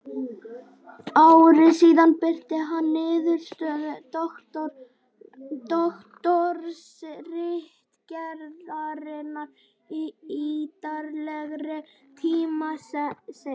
Ári síðar birti hann niðurstöður doktorsritgerðarinnar í ýtarlegri tímaritsgrein.